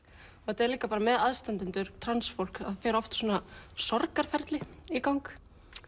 þetta er líka með aðstandendur transfólks það fer oft sorgarferli í gang